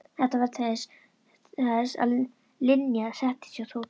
Þetta varð til þess að Linja settist að hjá Tóta.